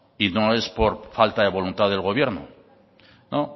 y no es por falta de voluntad del gobierno no